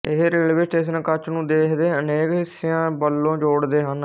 ਇਹ railway station Kutch ਨੂੰ ਦੇਸ਼ ਦੇ ਅਨੇਕ ਹਿੱਸੀਆਂ ਵਲੋਂ ਜੋਡ਼ਦੇ ਹਨ